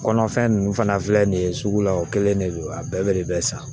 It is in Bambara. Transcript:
Kɔnɔfɛn ninnu fana filɛ nin ye sugu la o kelen de don a bɛɛ bɛ de bɛ san